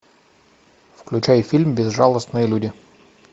включай фильм безжалостные люди